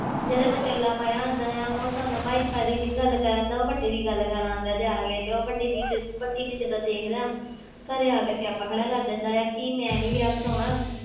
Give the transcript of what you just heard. ਜਿਹੜਾ ਵਿਚੋਲਾ ਪਾਇਆ ਹੁੰਦਾ ਹੈ ਉਹ ਸੋਨਮ ਬਾਜਵਾ ਦੀ ਨੀ ਗੱਲ ਕਰ ਆਉਂਦਾ ਉਹ ਵੱਡੀ ਦੀ ਗੱਲ ਕਰ ਆਉਂਦਾ ਜਾ ਕੇ ਤੇ ਉਹ ਵੱਡੀ ਦੀਦੀ ਵੱਡੀ ਦੀਦੀ ਜਦੋਂ ਦੇਖਦਾ ਘਰੇ ਆ ਕੇ ਸਿਆਪਾ ਖੜਾ ਕਰ ਦਿੰਦਾ ਹੈ ਕਿ ਮੈਂ ਨੀ ਵਿਆਹ ਕਰਵਾਉਣਾ,